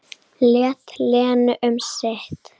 Lét Lenu um sitt.